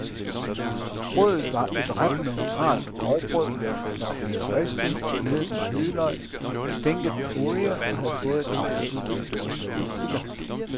Brødet var et ret neutralt grovbrød, der var blevet ristet og gnedet med hvidløg, stænket med olie og havde fået et afsluttende drys persille.